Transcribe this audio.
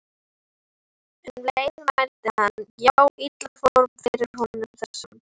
Um leið mælti hann: Já, illa fór fyrir honum þessum